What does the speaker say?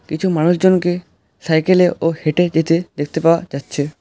কিছু মানুষজনকে সাইকেল -এ ও হেঁটে যেতে দেখতে পাওয়া যাচ্ছে।